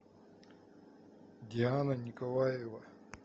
диана николаева